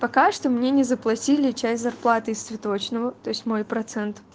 пока что мне не заплатили часть зарплаты из цветочного то есть мой процент